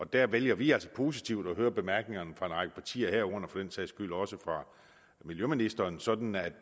der vælger vi altså positivt at høre bemærkningerne fra en række partier herunder for den sags skyld også fra miljøministeren sådan at